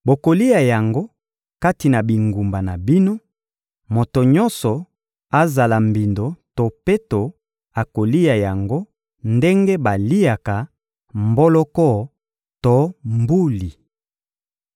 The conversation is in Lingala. Bokolia yango kati na bingumba na bino: moto nyonso, azala mbindo to peto, akolia yango ndenge baliaka mboloko to mbuli.